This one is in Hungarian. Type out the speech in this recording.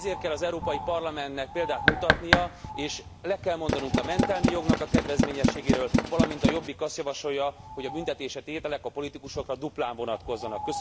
Ezért kell az Európai Parlamentnek példát mutatnia, és le kell mondanunk a mentelmi jognak a kedvezményességéről, valamint a Jobbik azt javasolja, hogy a büntetési tételek a politikusokra duplán vonatkozzanak.